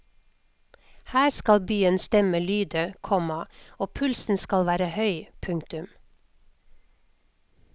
Her skal byens stemme lyde, komma og pulsen skal være høy. punktum